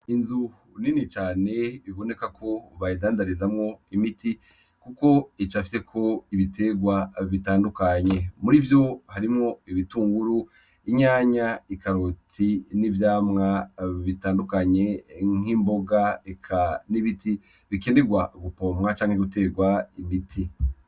Inzu nini cane biboneka ko bayindandarizamw'imiti kuko icafyeko ibiterwa bitandukanye. Muri vyo harimwo: ibitunguru, inyanya, ikaroti, n'ivyamwa bitandukanye nk'imboga, eka n'ibiti bikenerwa gupomwa canke guterwa imiti.